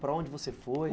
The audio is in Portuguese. Para onde você foi?